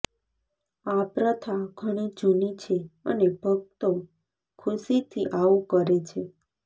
આ પ્રથા ઘણી જૂની છે અને ભક્તો ખુશી થી આવું કરે છે